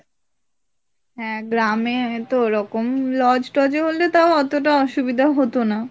হ্যাঁ গ্রামে তো এরকম lodge টজে হলে তাও এরকম এতটাও অসুবিধা হত না।